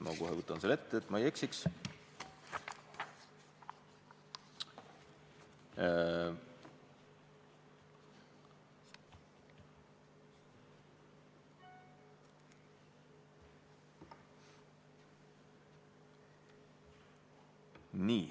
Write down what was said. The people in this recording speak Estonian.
Ma kohe võtan selle ette, et ma ei eksiks.